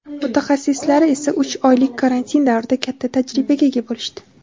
Mutaxassislari esa uch oylik karantin davrida katta tajribaga ega bo‘lishdi.